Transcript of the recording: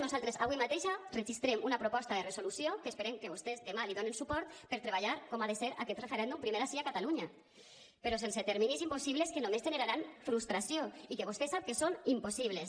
nosaltres avui mateix registrem una proposta de resolució que esperem que vostès demà li donen suport per treballar com ha de ser aquest referèndum primer ací a catalunya però sense terminis impossibles que només generaran frustració i que vostè sap que són impossibles